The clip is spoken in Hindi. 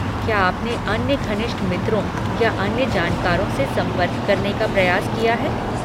क्या आपने अन्य घनिष्ठ मित्रों या अन्य जानकारों से संपर्क करने का प्रयास किया है?